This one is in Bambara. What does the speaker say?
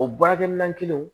O baarakɛminɛn kelen